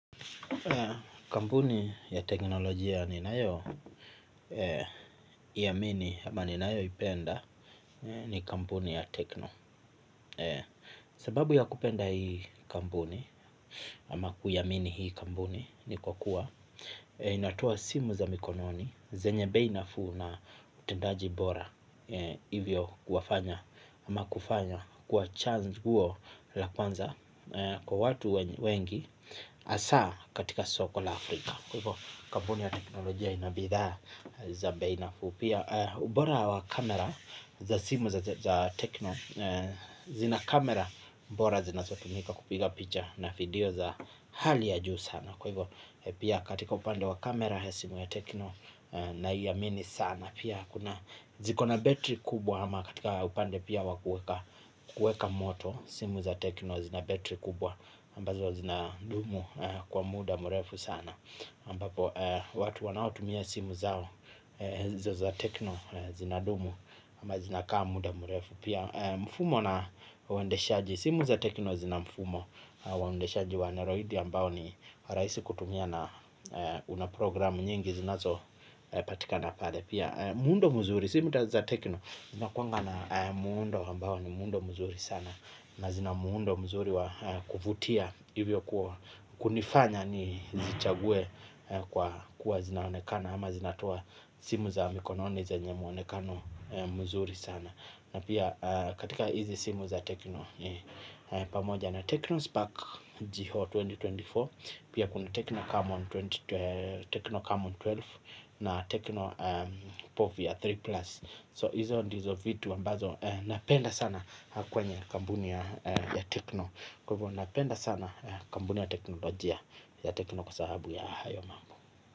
Kampuni ya teknolojia ninayo iamini ama ninayoipenda ni kampuni ya Tecno. Sababu ya kupenda hii kambuni ama, kuiamini hii kampuni ni kwa kuwa inatoa simu za mkononi zenye bei nafuu na utendaji bora, hivyo kufanya iwe chaguo la kwanza kwa watu wengi, hasa katika soko la Afrika. Kwa hivyo kampuni ya teknolojia ina bidhaa za bei nafuu. Pia, ubora wa kamera za simu za Tecno. Zina kamera bora zinazotumika kupiga picha na video za hali ya juu sana. Kwa hivyo, pia katika upande wa kamera simu ya Tecno Naiamini sana. Pia kuna ziko na battery kubwa, ama katika upande pia wa kuweka moto. Simu za Tecno zina battery kubwa ambazo zinadumu kwa muda mrefu sana, ambapo watu wanaotumia simu zao hizo za Tecno, zinadumu ama zinakaa muda mrefu. Pia, mfumo na uendeshaji, simu za Tecno zina mfumo wa uendeshaji wa Android ambao ni rahisi kutumia na una programu nyingi zinazopatikana pale pia muundo mzuri. Simu za Tecno zinakuwa na muundo ambao ni muundo mzuri sana na zina muundo mzuri wa kufutia. Hivyo. Kunifanya nizichague kwa kuwa zinaonekana ama zinatoa simu za mkononi zenye mwonekano mzuri. Nzuri sana na pia katika hizi simu za tecno pamoja na tecno spark GO elfu mbili na ishirini na nne. Pia kuna Tecno Camon ishirini, tecno camon kumi na mbili na Tecno Povia tatu Plus. Hizo ndizo vitu ambavyo napenda sana kwenye kampuni ya Tecno. Kwa hivyo, napenda sana kampuni ya teknolojia ya tecno kwa sababu ya hayo mambo.